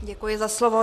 Děkuji za slovo.